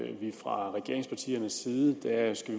at vi fra regeringspartiernes side